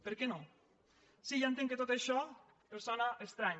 per què no sí ja entenc que tot això els sona estrany